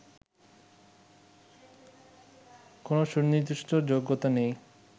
কোন সুনির্দিষ্ট যোগ্যতা নেই